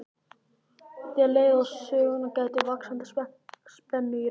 Þegar leið á söguna gætti vaxandi spennu í röddinni.